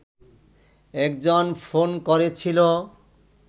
একজন ফোন করেছিল